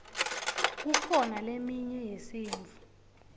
kukhona leminye yesintfu